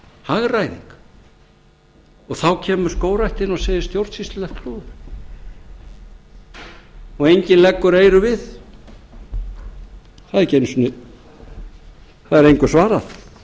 hagræðing og þá kemur skógræktin og segir stjórnsýslulegt klúður og enginn leggur eyrun við það er engu svarað